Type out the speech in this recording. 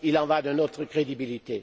Il y va de notre crédibilité.